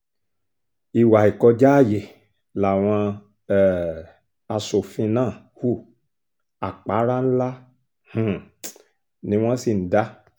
ìwà ìkọjá ààyè làwọn um aṣòfin náà hu àpárá ńlá um ni wọ́n sì ń dá